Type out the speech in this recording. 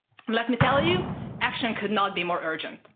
Let me tell you, action could not be more urgent.